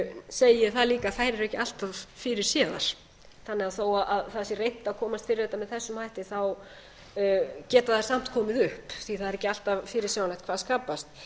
segi ég það líka að þær eru ekki allt of fyrirséðar þannig að þó það sé reynt að komast fyrir þetta með þessum hætti geta þær samt komið upp því það er ekki alltaf fyrirsjáanlegt hvað skapast